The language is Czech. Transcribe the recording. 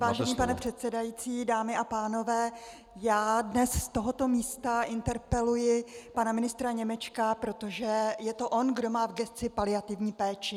Vážený pane předsedající, dámy a pánové, já dnes z tohoto místa interpeluji pana ministra Němečka, protože je to on, kdo má v gesci paliativní péči.